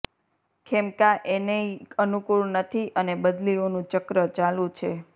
ખેમકા એને ય અનુકૂળ નથી અને બદલીઓનું ચક્ર ચાલુ છે